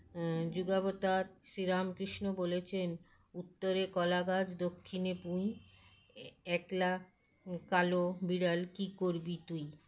ম যুগাবতার শ্রীরামকৃষ্ণ বলেছেন উত্তরে কলাগাছ দক্ষিণে পুঁই এএকলা কালো বিড়াল কীকরবি তুই